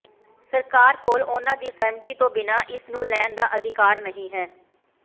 ਸਰਕਾਰ ਕੋਲ ਉਨ੍ਹਾਂ ਦੀ ਸਹਿਮਤੀ ਤੋਂ ਬਿਨਾਂ ਇਸ ਨੂੰ ਲੈਣ ਦਾ ਅਧਿਕਾਰ ਨਹੀਂ ਹੈ